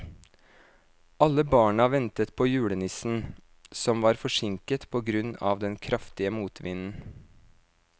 Alle barna ventet på julenissen, som var forsinket på grunn av den kraftige motvinden.